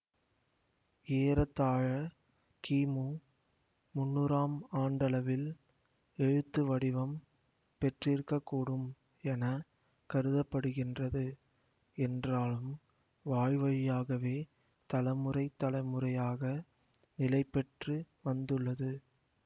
ஏறத்தாழ கிமு முன்னூறாம் ஆண்டளவில் எழுத்துவடிவம் பெற்றிருக்க கூடும் என கருத படுகின்றது என்றாலும் வாய்வழியாகவே தலமுறை தலைமுறையாக நிலைப்பெற்று வந்துள்ளது